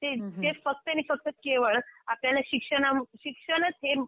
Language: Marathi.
ते फक्त आणि फक्त केवळ आपल्याला शिक्षणच हे